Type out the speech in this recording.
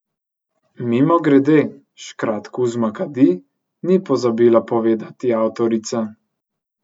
Mimogrede, škrat Kuzma kadi, ni pozabila povedati avtorica.